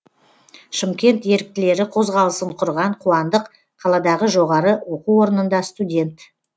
шымкент еріктілері қозғалысын құрған қуандық қаладағы жоғары оқу орнында студент